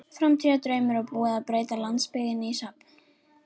Framtíðardraumur og búið að breyta landsbyggðinni í safn.